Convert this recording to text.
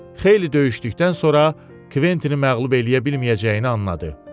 Xeyli döyüşdükdən sonra Kvettini məğlub eləyə bilməyəcəyini anladı.